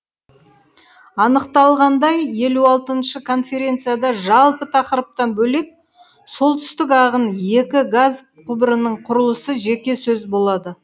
анықталғандай елу алтыншы конференцияда жалпы тақырыптан бөлек солтүстік ағын екі газ құбырының құрылысы жеке сөз болады